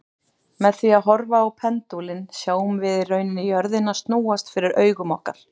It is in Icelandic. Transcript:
Með því að horfa á pendúlinn sjáum við í rauninni jörðina snúast fyrir augum okkar.